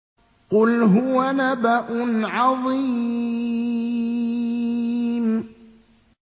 قُلْ هُوَ نَبَأٌ عَظِيمٌ